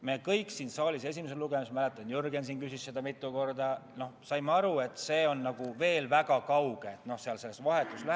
Me kõik siin saalis saime esimesel lugemisel aru, et see on veel väga kaugel – see, et vahetus läheduses peab sõitma jalakäija tavakiirusega.